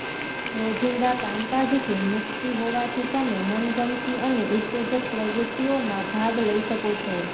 રોજિંદા કામકાજથી મુક્તિ હોવાથી તમે મનગમતી અને ઉત્તેજક પ્રવૃત્તિઓમાં ભાગ લઈ શકો છો